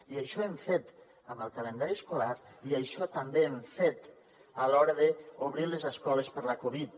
i això hem fet amb el calendari escolar i això també hem fet a l’hora d’obrir les escoles per la covid